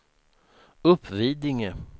Uppvidinge